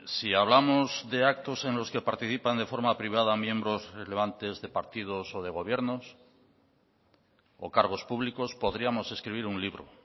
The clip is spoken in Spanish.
si hablamos de actos en los que participan de forma privada miembros relevantes de partidos o de gobiernos o cargos públicos podríamos escribir un libro